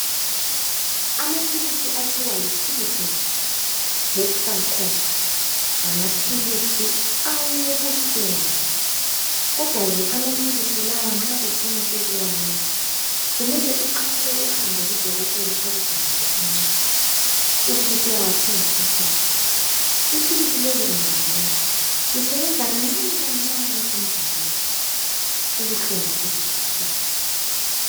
Amapills okuthi yitilidin hexal comp ngamapills alobuhlungu kodwake amapills lawa nxa ufuna ukuwanatha kumele uqale uhambe kudokotela ekubhalele ingcwadi ube ususiyawathemba ekhemisi ipills leli ungalinatha lisebenza kancane kancane emzimbeni ubuhlungu buze buphele